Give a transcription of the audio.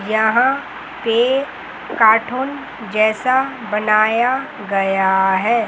यहां पे काठून जैसा बनाया गया है।